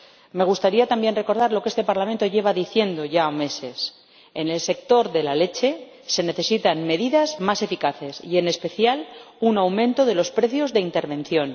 Me gustaría también recordar lo que este Parlamento lleva diciendo ya meses en el sector de la leche se necesitan medidas más eficaces y, en especial, un aumento de los precios de intervención.